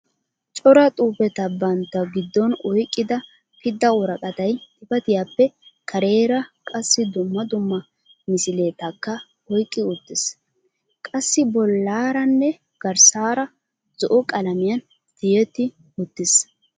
Cora xuufetta bantta giddon oyqida pidda woraqatay xifatiyaappe kareera qassi dumma dumma misiletaka oyqqi uttiis. qassi bollaaranne garssaara zo'o qalamiyaan tiyetti uttiis.